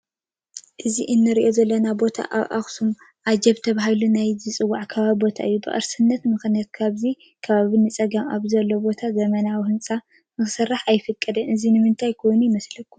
እዚ ንሪኦ ዘለና ቦታ ኣብ ኣኽሱም ኣጂፕ ተባሂሉ ናይ ዝፅዋዕ ከባቢ ቦታ እዩ፡፡ ብቕርስነት ምኽንያት ካብዚ ከባቢ ንፀጋም ኣብ ዘሎ ቦታ ዘመናዊ ህንፃ ክስራሕ ኣይፍቀድን፡፡ እዚ ንምንታይ ኮይኑ ይመስለኩም?